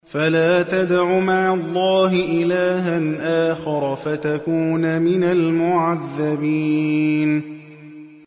فَلَا تَدْعُ مَعَ اللَّهِ إِلَٰهًا آخَرَ فَتَكُونَ مِنَ الْمُعَذَّبِينَ